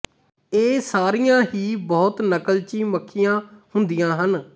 ਇਹ ਸਾਰੀਆਂ ਹੀ ਬਹੁਤ ਨਕਲਚੀ ਮੱਖੀਆਂ ਹੁੰਦੀਆਂ ਹਨ